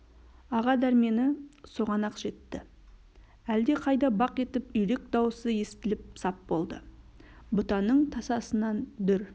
аға дәрмені соған-ақ жетті әлде қайда бақ етіп үйрек дауысы естіліп сап болды бұтаның тасасынан дүр